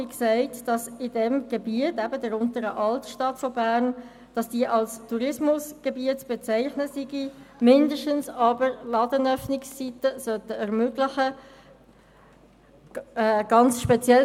Wie gesagt, verlangt die Motion , dass die Untere Altstadt von Bern als Tourismusgebiet bezeichnet wird oder mindestens Ladenöffnungszeiten am Sonntag ermöglicht werden.